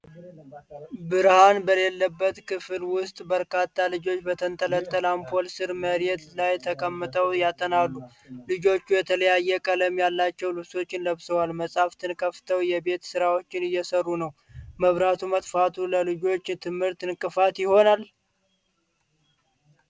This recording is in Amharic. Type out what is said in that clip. ብርሃን በሌለበት ክፍል ውስጥ፣ በርካታ ልጆች በተንጠለጠለ አምፖል ሥር መሬት ላይ ተቀምጠው ያጠናሉ። ልጆቹ የተለያየ ቀለም ያላቸው ልብሶችን ለብሰው መጻሕፍትን ከፍተው የቤት ሥራቸውን እየሠሩ ነው፤ መብራቱ መጥፋቱ ለልጆቹ ትምህርት እንቅፋት ይሆናል?